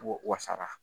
O wasara